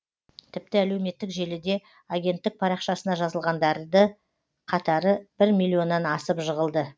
тіпті әлеуметтік желіде агенттік парақшасына жазылғандарды қатары бір миллионнан асып жығылды